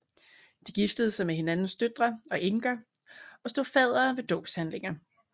De giftede sig med hinandens døtre og enker og stod faddere ved dåbshandlinger